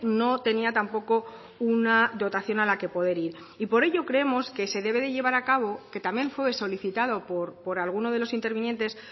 no tenía tampoco una dotación a la que poder ir por ello creemos que se debe llevar a cabo que también fue solicitado por alguno de los intervinientes